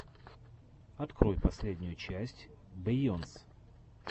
открой последнюю часть бейонсе